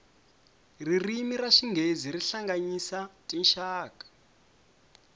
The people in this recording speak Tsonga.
ririmi ra xinghezi ri hlanganyisa tinxaka